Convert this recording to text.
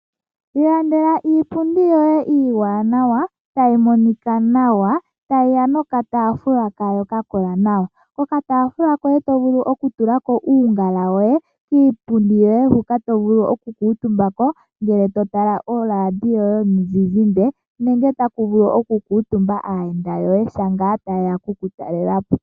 Iilandela iipundi yo ye iiwanawa, ta yi monika nawa, ta yi ya nokataafula kayo ka kola nawa. Ko kataafula oto vulu oku tulako oongala dhoye, no kiipundi otovulu oku kuutumba ko sho totala oradio yo ye yo mu zizimba, nenge ta ku vulu oku kuutumba aayenda yo ye sho ta yeya oku ku talelapo.